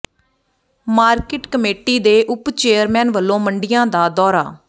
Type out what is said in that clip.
market committee ਦੇ ਉੱਪ chairman ਵੱਲੋਂ ਮੰਡੀਆਂ ਦਾ ਦੌਰਾ